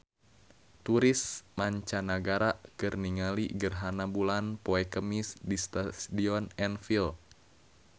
Turis mancanagara keur ningali gerhana bulan poe Kemis di Stadion Anfield